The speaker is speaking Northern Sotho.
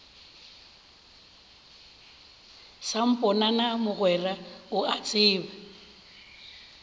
samponana mogwera o a tseba